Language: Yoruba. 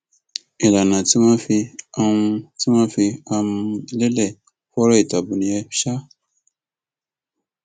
ìlànà tí wọn fi um fi um lélẹ fọrọ ètò ààbò nìyẹn um